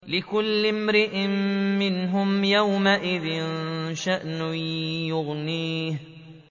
لِكُلِّ امْرِئٍ مِّنْهُمْ يَوْمَئِذٍ شَأْنٌ يُغْنِيهِ